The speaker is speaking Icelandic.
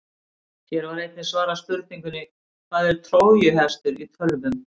Hér var einnig svarað spurningunni: Hvað er trójuhestur í tölvum?